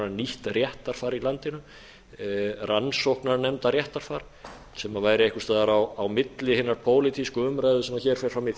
nýtt réttarfar í landinu rannsóknarnefndarréttarfar sem væri einhvers staðar á milli hinnar pólitísku umræðu sem hér fer fram í